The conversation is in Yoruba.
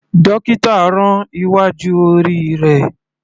Dókítà rán iwájú orí rẹ̀.